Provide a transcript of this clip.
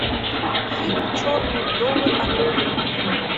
фильм черные вдовы открой мне